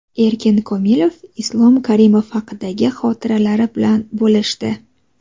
Erkin Komilov Islom Karimov haqidagi xotiralari bilan bo‘lishdi .